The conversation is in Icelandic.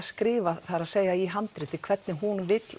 skrifað það er að í handritið hvernig hún vill